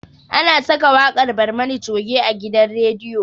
Ana saka waƙar barmani coge a gidan rediyo